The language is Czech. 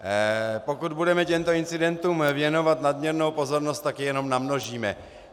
Pokud budeme těmto incidentům věnovat nadměrnou pozornost, tak je jenom namnožíme.